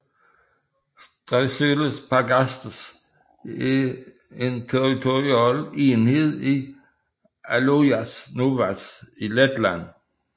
Staiceles pagasts er en territorial enhed i Alojas novads i Letland